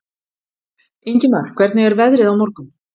Ingimar, hvernig er veðrið á morgun?